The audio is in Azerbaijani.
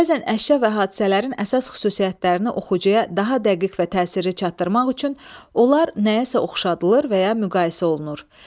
Bəzən əşya və hadisələrin əsas xüsusiyyətlərini oxucuya daha dəqiq və təsirli çatdırmaq üçün onlar nəyəsə oxşadılır və ya müqayisə olunur.